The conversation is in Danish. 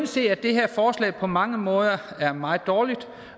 sige at det her forslag på mange måder er meget dårligt